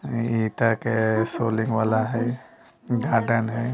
अ इ ईंटा के सोलिंग वाला हय गार्डन है।